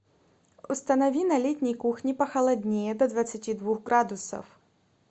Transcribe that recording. установи на летней кухне похолоднее до двадцати двух градусов